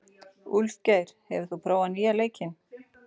Úlfgeir, hefur þú prófað nýja leikinn?